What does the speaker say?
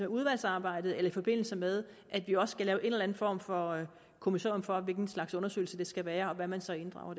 udvalgsarbejdet eller i forbindelse med at vi også skal lave en eller anden form for kommissorium for hvilken slags undersøgelse det skal være og hvad man så inddrager